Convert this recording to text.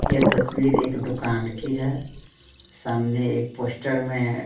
यह तस्वीर एक दुकान की है सामने एक पोस्टर में--